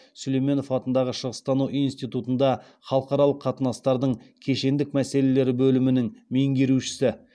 сүлейменов атындағы шығыстану институтында халықаралық қатынастардың кешендік мәселелері бөлімінің меңгерушісі